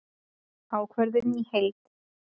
Ákvörðunin í heild